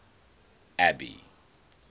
abby